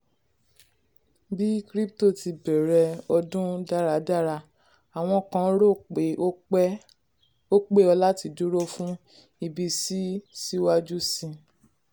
bí crypto ti bẹ̀rẹ̀ ọdún daradara àwọn kan rò pé ó pé ó láti dúró fún ìbísí síwájú sí.